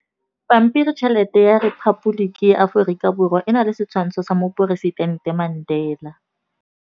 Pampiritšheletê ya Repaboliki ya Aforika Borwa e na le setshwantshô sa poresitentê Mandela.